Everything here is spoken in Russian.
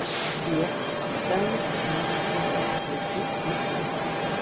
сбер таймер пятнадцать минут включить сейчас